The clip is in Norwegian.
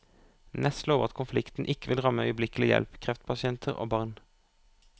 Næss lover at konflikten ikke vil ramme øyeblikkelig hjelp, kreftpasienter og barn.